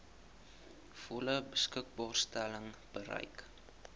volle beskikbaarstelling bereik